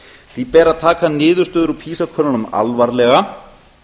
því ber að taka niðurstöður úr pisa könnunum alvarlega